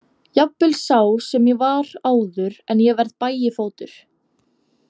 Jafnvel sá sem ég var áður en ég varð Bægifótur.